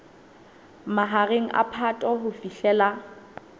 mahareng a phato ho fihlela